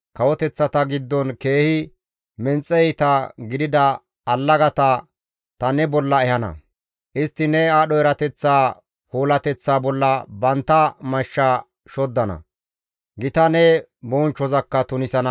Kawoteththata giddon keehi menxe iita gidida allagata ta ne bolla ehana. Istti ne aadho erateththa puulateththa bolla bantta mashsha shoddana; gita ne bonchchozakka tunisana.